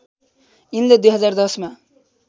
यिनले २०१० मा